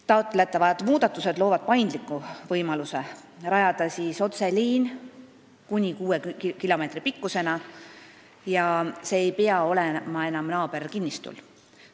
Taotletavad muudatused loovad paindliku võimaluse rajada otseliin kuni kuue kilomeetri pikkusena ja see ei pea olema enam naaberkinnistul.